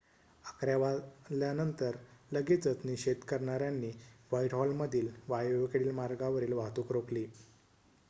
11:00 वाजल्यानंतर लगेचच निषेध करणाऱ्यांनी व्हाईटहॉलमधील वायव्येकडील मार्गावरील वाहतूक रोखली